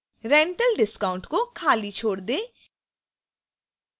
rental discount को खाली छोड़ दें